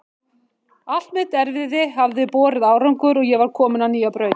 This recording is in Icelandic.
Allt mitt erfiði hafði borið árangur og ég var komin á nýja braut.